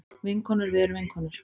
Vinkonur við erum vinkonur.